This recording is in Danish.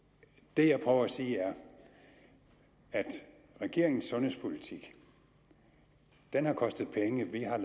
det jeg prøver at sige er at regeringens sundhedspolitik har kostet penge vi har